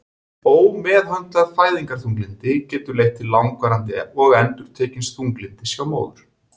Ómeðhöndlað fæðingarþunglyndi getur leitt til langvarandi og endurtekins þunglyndis hjá móður.